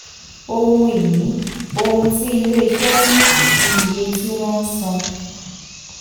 ohun ìní: ohun tí iléeṣẹ́ ní àti iye tí wọ́n um san.